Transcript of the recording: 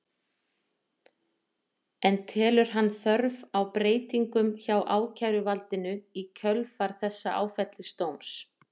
En telur hann þörf á breytingum hjá ákæruvaldinu í kjölfar þessa áfellisdóms?